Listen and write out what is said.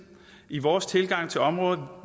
i vores tilgang til området